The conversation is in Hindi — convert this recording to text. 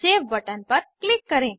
सेव बटन पर क्लिक करें